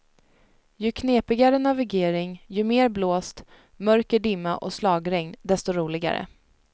Ju knepigare navigering, ju mer blåst, mörker dimma och slagregn desto roligare.